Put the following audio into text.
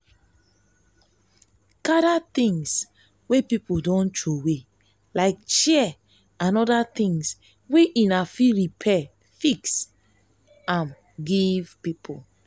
gather things wey pipo don trowey like chair and oda thing wey una fit repair fix um am give pipo